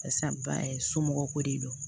Barisa ba ye somɔgɔw ko de don